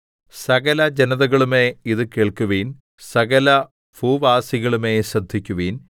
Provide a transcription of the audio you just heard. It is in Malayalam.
സകലജനതകളുമേ ഇത് കേൾക്കുവിൻ സകലഭൂവാസികളുമേ ശ്രദ്ധിക്കുവിൻ